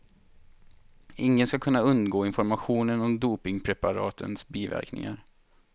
Ingen skall kunna undgå informationen om dopingpreparatens biverkningar.